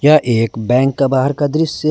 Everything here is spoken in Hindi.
यह एक बैंक का बाहर का दृश्य--